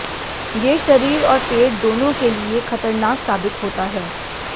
ये शरीर और पेट दोनों के लिए खतरनाक साबित होता है